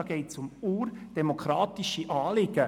Dabei geht es um urdemokratische Anliegen.